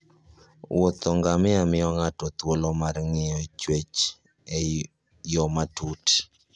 wuodh ngamia miyo ng'ato thuolo mar ng'iyo chwech e yo matut.